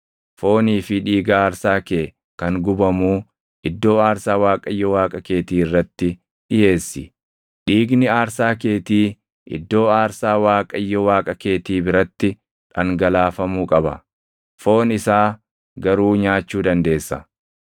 Foonii fi dhiiga aarsaa kee kan gubamuu iddoo aarsaa Waaqayyo Waaqa keetii irratti dhiʼeessi. Dhiigni aarsaa keetii iddoo aarsaa Waaqayyo Waaqa keetii biratti dhangalaafamuu qaba; foon isaa garuu nyaachuu dandeessa.